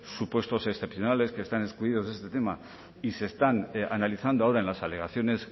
supuestos excepcionales que estén excluidos de este tema y se están analizando ahora en las alegaciones